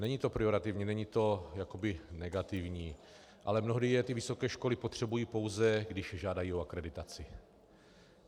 Není to pejorativní, není to jakoby negativní, ale mnohdy je ty vysoké školy potřebují, pouze když žádají o akreditaci.